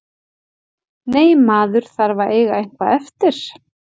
Nei, maður þarf að eiga eitthvað eftir.